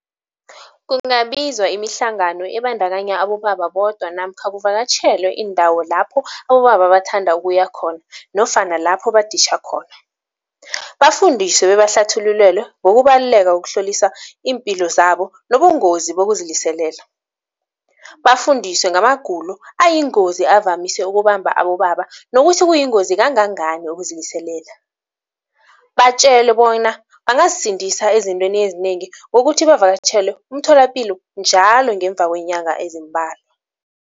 Kungabizwa imihlangano ebandakanya abobaba bodwa namkha kuvakatjhelwe iindawo lapho abobaba bathanda ukuya khona nofana lapho baditjha khona. Bafundiswe bebahlathululelwe ngokubaluleka kokuhlolisa iimpilo zabo nobungozi bokuziliselela. Bafundiswe ngamagulo ayingozi avamise ukubamba abobaba nokuthi kuyingozi kangangani ukuziliselela. Batjele bona bangazisindisa ezintweni ezinengi ngokuthi bavakatjhele umtholapilo njalo ngemva kweenyanga ezimbalwa.